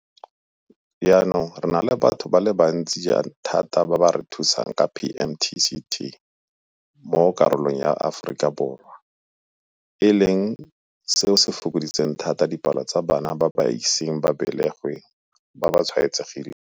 Jaanong re na le batho ba le bantsi thata ba re ba thusang ka PMTCT mo karolong ya Borwa jwa Aforika, e leng seo se fokoditseng thata dipalo tsa bana ba ba iseng ba belegwe ba ba tshwaetsegileng.